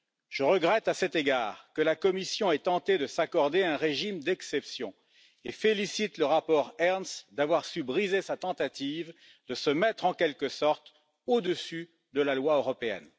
Je regrette, à cet égard, que la Commission ait tenté de s'accorder un régime d'exception et je félicite le rapport Ernst d'avoir su briser sa tentative de se mettre, en quelque sorte, au dessus de la loi européenne.